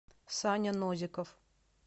саня нозиков